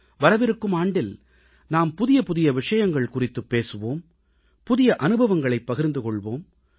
வரவிருக்கும் ஆண்டில் நாம் புதிய புதிய விஷயங்கள் குறித்துப் பேசுவோம் புதிய அனுபவங்களைப் பகிர்ந்து கொள்வோம்